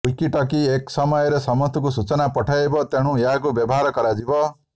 walkie talkie ଏକ ସମୟରେ ସମସ୍ତଙ୍କୁ ସୂଚନା ପଠାଇବ ତେଣୁ ଏହାକୁ ବ୍ୟବହାର କରାଯିବ